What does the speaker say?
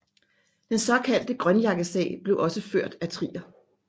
Den såkaldte grønjakkesag blev også ført af Trier